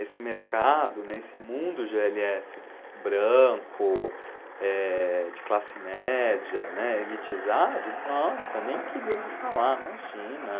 Esse mercado, esse mundo gê ele esse branco, eh, de classe média, né, elitizado, nossa, nem queria ouvir falar, imagina.